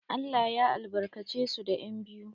Allah ya albarkace su da yan'biyu.